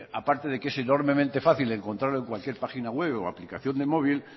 aparte de que es enormemente fácil encontrarlo en cualquier página web o aplicación de móvil